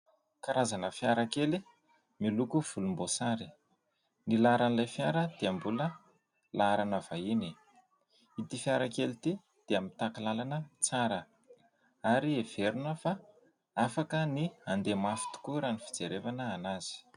Karazana fiara kely miloko volomboasary. Ny laharan'ilay fiara dia mbola laharana vahiny. Ity fiara kely ity dia mitaky lalana tsara ary heverina fa afaka ny handeha mafy tokoa raha ny fijery azy.